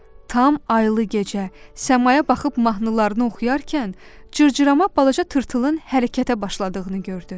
Tam aylı gecə səmaya baxıb mahnılarını oxuyarkən cırcırama balaca tırtılın hərəkətə başladığını gördü.